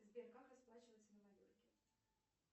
сбер как расплачиваться на майорке